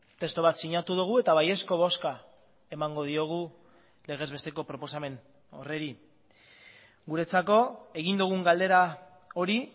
testu bat sinatu dugu eta baiezko bozka emango diogu legez besteko proposamen horri guretzako egin dugun galdera hori